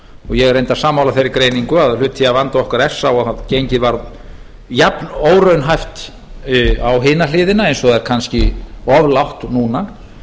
ég er reyndar sammála þeirri greiningu að hluti af vanda okkar sé sá að gengið varð jafn óraunhæft á hina hliðina eins og það er kannski of lágt núna